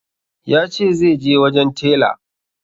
Ya ce zai je wajen tela